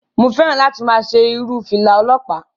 Mo fẹ́ràn láti máa ṣe irun fìlà ọlọpa.